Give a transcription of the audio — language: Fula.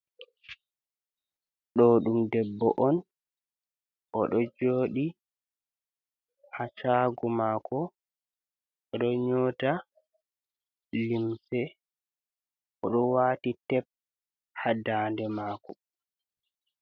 Ɗo ɗum debbo on. Oɗo jooɗi haa shaago maako, oɗo nyota limse, oɗo waati tep haa ndande maako.